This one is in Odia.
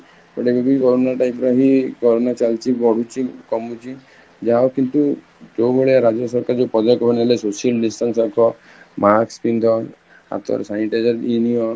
ହେଲେବି corona type ର ହିଁ corona ଚାଲୁଚି, ବଢୁଛି କାମୁଛି, ଯାହା ହଉ କିନ୍ତୁ ଯୋଉ ଭଳିଆ ରାଜ୍ୟ ସରକାର ଯୋଉ ବଣେଇଲେ social distancing ଆଗ mask ପିନ୍ଧ ହାତରେ sanitizer ନିଅ